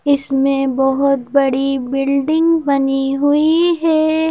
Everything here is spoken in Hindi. इसमें बहुत बड़ी बिल्डिंग बनी हुई है।